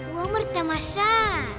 өмір тамаша